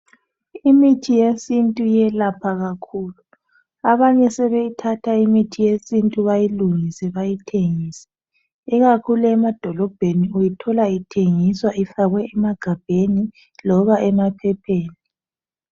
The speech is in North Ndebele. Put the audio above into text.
Imithi yesintu iyelapha kakhulu. Abanye sebeyithatha imithi yesintu bayilungise ,bayithengise ikakhulu emadolobheni uyithola ithengiswa ifakwe emagabheni loba emaphepheni.